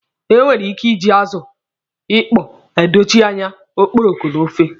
E nwere ike iji azụ ịkpọ adochi anya okporoko n'ofe.